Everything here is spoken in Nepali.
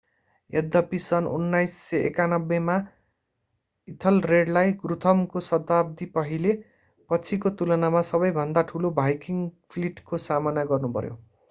यद्यपि सन् 991 मा इथलरेडलाई गुथ्रमको शताब्दी पहिले पछिको तुलनामा सबैभन्दा ठूलो भाइकिङ्ग फ्लिटको सामना गर्नु पर्‍यो।